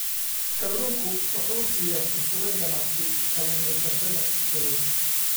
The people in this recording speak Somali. Kalluunku wuxuu siiyaa fursado ganacsi kalluumaysatada yaryar.